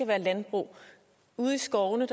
være landbrug ude i skovene